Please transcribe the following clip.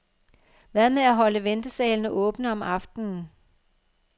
Hvad med at holde ventesalene åbne om aftenen?